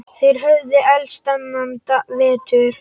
Þeir höfðu elst þennan vetur.